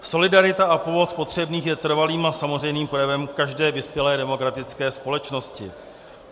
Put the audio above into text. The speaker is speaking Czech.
Solidarita a pomoc potřebným je trvalým a samozřejmým projevem každé vyspělé demokratické společnosti.